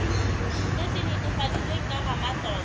se se netefaditsweng ke ramatlotlo